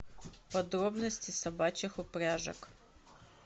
подробности собачьих упряжек